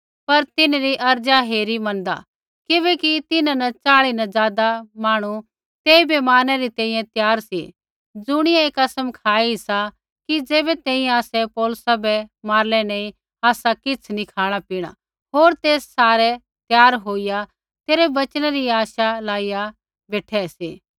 पर तिन्हरी अर्ज़ा हेरी मैनदा किबैकि तिन्हां न च़ाल़ी न ज़ादा मांहणु तेइबै मारनै री तैंईंयैं त्यार सी ज़ुणियै ऐ कसम खाई सा कि ज़ैबै तैंईंयैं आसै पौलुसा बै मारलै नी आसा किछ़ नी खाँणापीणा होर ते सारै त्यार होईया तेरै वचनै री आश लाइया बेठै सी